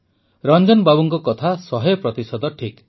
ରଂଜନ ବାବୁଙ୍କ କଥା ଶହେ ପ୍ରତିଶତ ଠିକ୍